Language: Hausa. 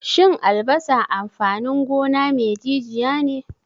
Shin albasa amfanin gona me jijiya ne?